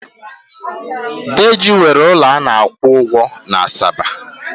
Deji nwere ụlọ a na akwụ ụgwọ na Asaba.